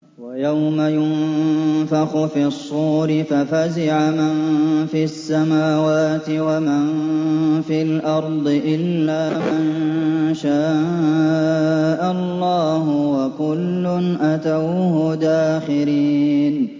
وَيَوْمَ يُنفَخُ فِي الصُّورِ فَفَزِعَ مَن فِي السَّمَاوَاتِ وَمَن فِي الْأَرْضِ إِلَّا مَن شَاءَ اللَّهُ ۚ وَكُلٌّ أَتَوْهُ دَاخِرِينَ